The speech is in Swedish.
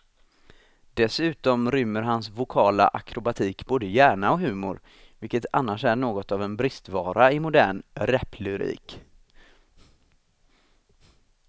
Dessutom rymmer hans vokala akrobatik både hjärna och humor, vilket annars är något av en bristvara i modern raplyrik.